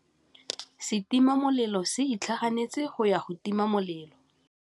Setima molelô se itlhaganêtse go ya go tima molelô.